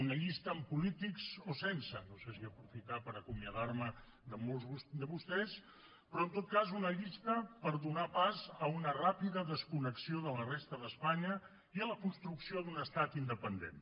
una llista amb polítics o sense no sé si aprofitar per acomiadar me de molts de vostès però en tot cas una llista per donar pas a una ràpida desconnexió de la resta d’espanya i a la construcció d’un estat independent